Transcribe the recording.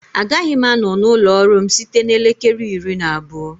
Agaghị m anọ na ụlọ ọrụ m site na elekere iri na abụọ